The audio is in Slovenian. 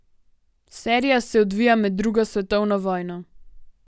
Serija se odvija med drugo svetovno vojno.